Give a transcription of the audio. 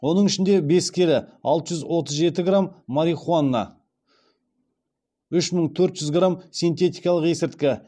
оның ішінде бес келі алты жүз отыз жеті грамм марихуана үш мың төрт жүз грамм синтетикалық есірткі